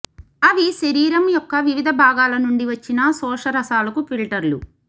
అవి శరీరం యొక్క వివిధ భాగాల నుండి వచ్చిన శోషరసాలకు ఫిల్టర్లు